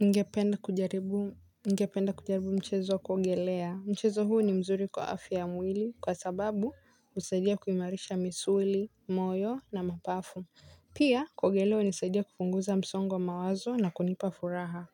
Ningependa kujaribu mchezo wa kuogelea, mchezo huu ni mzuri kwa afya ya mwili kwa sababu husaidia kuimarisha misuli, moyo na mapafu. Pia kuogelea hunisaidia kupunguza msongo wa mawazo na kunipa furaha.